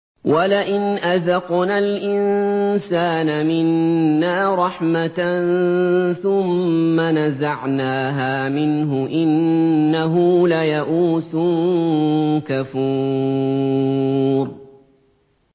وَلَئِنْ أَذَقْنَا الْإِنسَانَ مِنَّا رَحْمَةً ثُمَّ نَزَعْنَاهَا مِنْهُ إِنَّهُ لَيَئُوسٌ كَفُورٌ